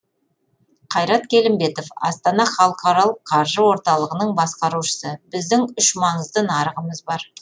қайрат келімбетов астана халықаралық қаржы орталығының басқарушысы біздің үш маңызды нарығымыз бар